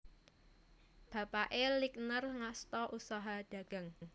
Bapake Lingner ngasta usaha dagang